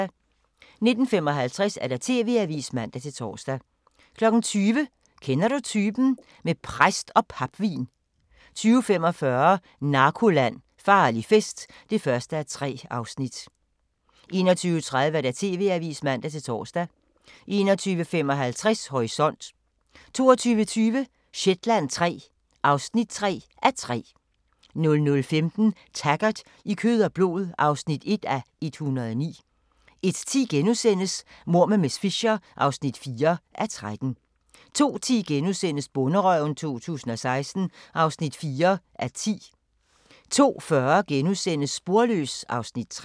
19:55: TV-avisen (man-tor) 20:00: Kender du typen? - med præst og papvin 20:45: Narkoland - Farlig fest (1:3) 21:30: TV-avisen (man-tor) 21:55: Horisont 22:20: Shetland III (3:3) 00:15: Taggart: I kød og blod (1:109) 01:10: Mord med miss Fisher (4:13)* 02:10: Bonderøven 2016 (4:10)* 02:40: Sporløs (Afs. 3)*